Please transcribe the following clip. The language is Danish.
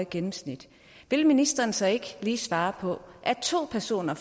gennemsnit vil ministeren så ikke lige svare på at to personer